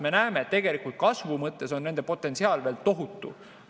Me näeme, et kasvu mõttes on nende potentsiaal veel tohutu.